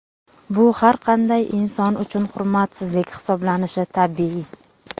Bu har qanday inson uchun hurmatsizlik hisoblanishi tabiiy.